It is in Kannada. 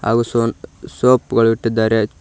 ಹಾಗು ಸೊನ್ ಸೋಪ್ ಗಳು ಇಟ್ಟಿದ್ದಾರೆ.